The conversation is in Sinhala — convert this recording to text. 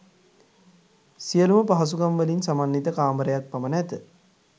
සියලූම පහසුකම්වලින් සමන්විත කාමරක් පමණ ඇත